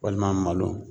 Walima malo